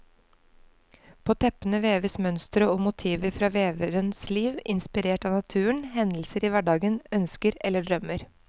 På teppene veves mønstre og motiver fra veverens liv, inspirert av naturen, hendelser i hverdagen, ønsker eller drømmer.